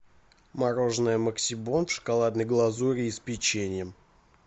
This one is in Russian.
мороженое максибон в шоколадной глазури и с печеньем